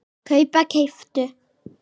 kaupa- keyptu